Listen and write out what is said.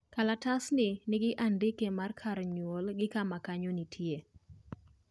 kalatasni nigi andike mar kar nyuol gi kama kanyo nitie